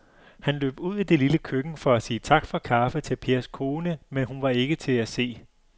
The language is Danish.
Han løb ud i det lille køkken for at sige tak for kaffe til Pers kone, men hun var ikke til at se.